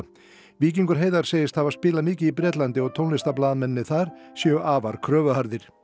víkingur Heiðar segist hafa spilað mikið í Bretlandi og þar séu afar kröfuharðir